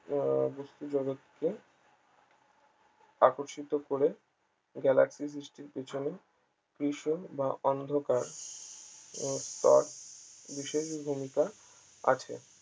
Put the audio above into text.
আহ বস্তু জগতকে আকর্ষিত করে galaxy সৃষ্টির পিছনে কৃষ্ণ বা অন্ধকার স্তর বিশেষ ভূমিকা আছে